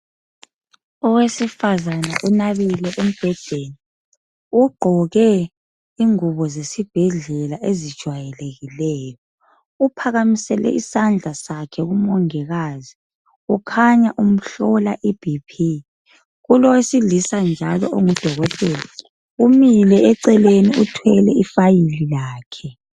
Owesifazana unabile embhedeni, ugqoke ingubo zesibhedlela ezijwayelekileyo. Uphakamisele isandla sakhe kuMongikazi ukhanya umhlola iBP kulowesilisa njalo onguDokotela umile eceleni uthwele ifayili lakhe.